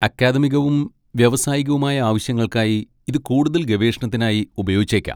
അക്കാദമികവും വ്യാവസായികവുമായ ആവശ്യങ്ങൾക്കായി ഇത് കൂടുതൽ ഗവേഷണത്തിനായി ഉപയോഗിച്ചേക്കാം.